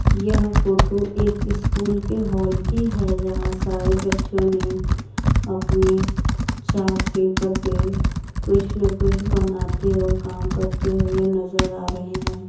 यह फोटो एक स्कूल के हॉल की है जहां सारे बच्चों ने अपने चार्ट पेपर पे कुछ न कुछ बनाते और काम करते हुए नजर आ रहे हैं।